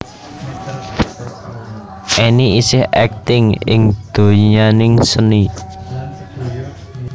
Enny isih aktif ing donyaning seni